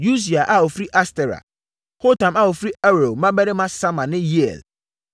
Usia a ɔfiri Astera; Hotam a ɔfiri Aroer mmammarima Sama ne Yeiel;